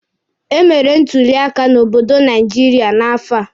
E mere ntuli elu n'obodo Naijiria n'afọ a.